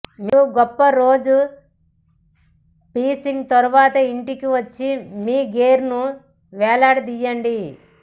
మీరు గొప్ప రోజు ఫిషింగ్ తర్వాత ఇంటికి వచ్చి మీ గేర్ ను వ్రేలాడదీయండి